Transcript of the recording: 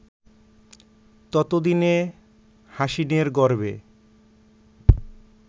ততদিনে হাসিনের গর্ভে